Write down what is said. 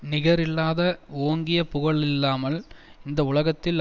நிகரில்லாத ஓங்கிய புகழல்லாமல் இந்த உலகத்தில்